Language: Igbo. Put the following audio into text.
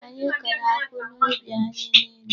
Anyị kọrọ akwụ n'ubi anyị niile.